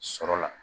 Sɔrɔ la